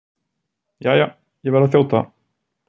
Jæja, ég verð að þjóta.